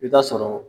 I bi taa sɔrɔ